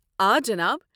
آ، جناب ۔